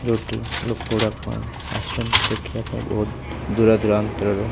ଯୋଉଟି ଲୋକ ଉଡ଼ାକ ଆସିଚନ୍ତି ଦେଖିବା ପାଇଁ ବୋହୁତ୍ ଦୂର ଦୁରାନ୍ତର ରୁ।